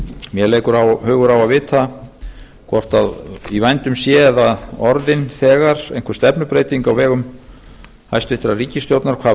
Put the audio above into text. mér leikur hugur á að vita hvort í vændum sé eða orðin þegar einhver stefnubreyting á vegum hæstvirtrar ríkisstjórnar hvað